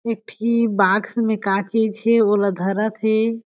एक ठी बाक्स में का चीज हे ओला धरत हे।